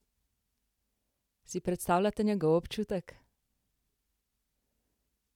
Si predstavljate njegov občutek?